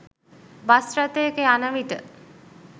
bus රථයක යනවිට